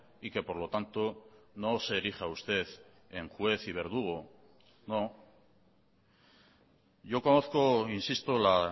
y que por lo tanto no se erija usted en juez y verdugo no yo conozco insisto la